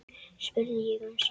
spurði ég um síðir.